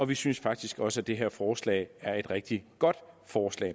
vi synes faktisk også at det her forslag er et rigtig godt forslag